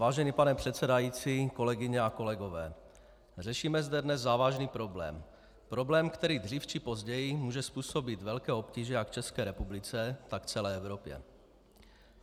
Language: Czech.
Vážený pane předsedající, kolegyně a kolegové, řešíme zde dnes závažný problém, problém, který dřív či později může způsobit velké obtíže jak České republice, tak celé Evropě.